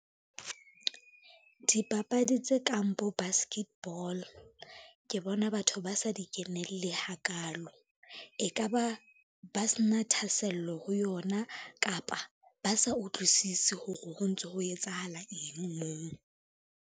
Dipapadi tse kang bo basket ball, ke bona batho ba sa di kenelle ha kalo. E ka ba ba se na thahasello ho yona, kapa ba sa utlwisise hore ho ntso ho etsahala eng moo.